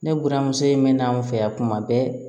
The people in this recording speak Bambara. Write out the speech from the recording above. Ne buramuso in mɛna an fɛ yan kuma bɛɛ